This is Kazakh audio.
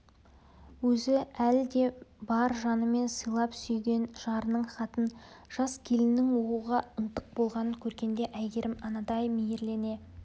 өзі әлі де бар жанымен сыйлап сүйген жарының хатын жас келіннің оқуға ынтық болғанын көргенде әйгерім анадай мейірлене